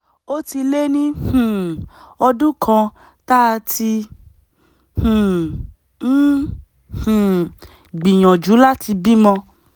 ó ti lé ní um ọdún kan tá a ti um ń um gbìyànjú láti bímọ